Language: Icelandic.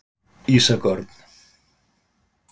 Ísak Örn.